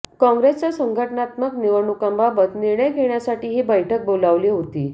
काँग्रेसच्या संघटनात्मक निवडणुकांबाबत निर्णय घेण्यासाठी ही बैठक बोलावली होती